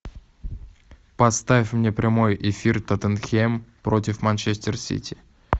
поставь мне прямой эфир тоттенхэм против манчестер сити